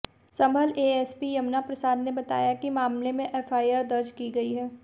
संभल SP Yamuna Prasad ने बताया कि मामले में एफआईआर दर्ज की गई है